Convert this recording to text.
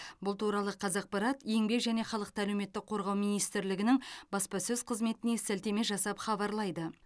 бұл туралы қазақпарат еңбек және халықты әлеуметтік қорғау министрлігінің баспасөз қызметіне сілтеме жасап хабарлайды